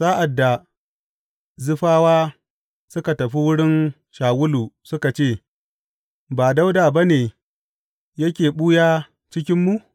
Sa’ad da Zifawa suka tafi wurin Shawulu suka ce, Ba Dawuda ba ne yake ɓuya a cikinmu?